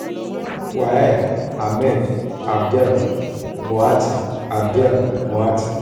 wael hamed abdel moati. abdel moati.